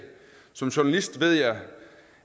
som journalist ved jeg